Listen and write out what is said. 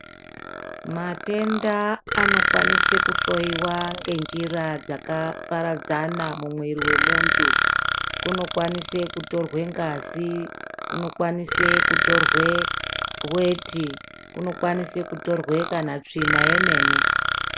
Matenda anokwanisa kuhloyiwa ngenjira dzakaparadzana mumwiri wemuntu. Kunokwanise kutorwa ngazi, kunokwanise kutorwe weti, kunokwanisa kutorwa kana tsvina yemene.